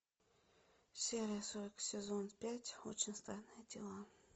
серия сорок сезон пять очень странные дела